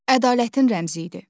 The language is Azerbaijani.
Ədalətin rəmzi idi.